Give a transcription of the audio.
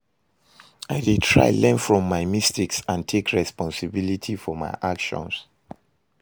I dey try learn from my mistakes and take responsibility for my actions.